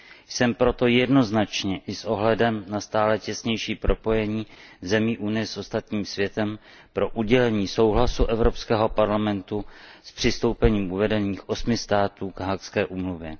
Jsem proto jednoznačně i s ohledem na stále těsnější propojení zemí Unie s ostatním světem pro udělení souhlasu Evropského parlamentu s přistoupením uvedených osmi států k Haagské úmluvě.